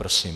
Prosím.